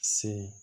Se